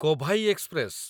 Kovai express